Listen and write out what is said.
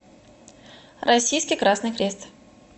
российский красный крест